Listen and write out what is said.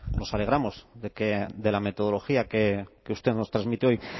nos alegramos de que de la metodología que usted nos transmite hoy